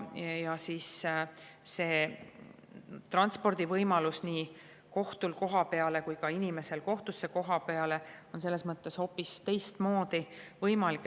Ja siis see transpordi nii kohtunikul kohapeale sõites kui ka inimesel kohtusse on hoopis teistmoodi.